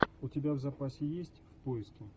у тебя в запасе есть в поиске